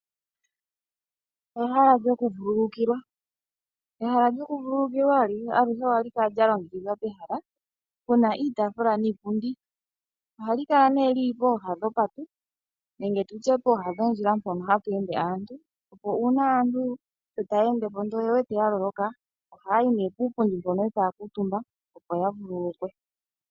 Ehala lyoku vululukila. Ehala lyoku vululukila aluhe ohali kala lya longekidhwa pehala pena iitaafula niipundi. Ohali kala nee lili pooha dhopate nenge tutye pooha dhondjila mpoka hapu ende aantu opo uuna aantu taya endepo ndele oyewete ya loloka oha yayi nee piipundi mpono etaya kuutumba opo ya vululukwe.